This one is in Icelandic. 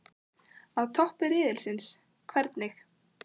Á toppi riðilsins- hvernig?